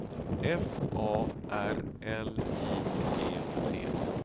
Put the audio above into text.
F A R L I G T